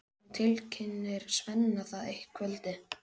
Hún tilkynnir Svenna það eitt kvöldið.